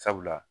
Sabula